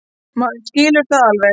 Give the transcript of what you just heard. Maður skilur það alveg.